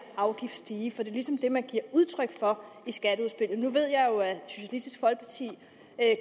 afgift stige for det er ligesom det man giver udtryk for i skatteudspillet nu ved jeg jo at socialistisk folkeparti